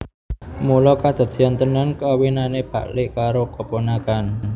Mula kedadeyan tenan kawinane pak lik karo keponakan